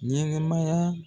Ɲɛnɛmaya